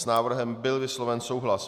S návrhem byl vysloven souhlas.